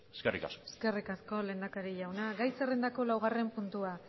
eskerrik asko eskerrik asko lehendakari jauna gai zerrendako laugarren puntua